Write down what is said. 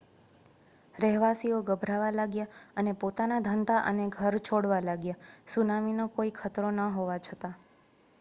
રહેવાસીઓ ગભરાવા લાગ્યા અને પોતાના ધંધા અને ઘર છોડવા લાગ્યા સુનામીનો કોઈ ખતરો ન હોવા છતાં